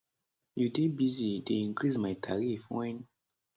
you dey busy dey increase my tariff wen